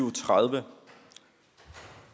og tredive